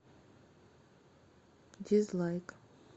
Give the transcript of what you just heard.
дизлайк